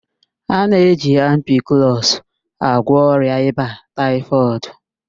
A na-eji ampiklọs agwọ ọrịa ịba taịfọdụ.